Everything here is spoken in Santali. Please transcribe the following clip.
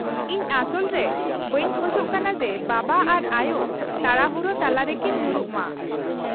-ᱤᱧ ᱟᱥᱚᱞ ᱨᱮ ᱵᱟᱹᱧ ᱠᱷᱚᱡᱚᱜ ᱠᱟᱱᱟ ᱡᱮ ᱵᱟᱵᱟ ᱟᱨ ᱟᱭᱳ ᱛᱟᱲᱟᱦᱩᱲᱳ ᱛᱟᱞᱟᱨᱮᱠᱤᱱ ᱧᱩᱨᱩᱜ ᱢᱟ ᱾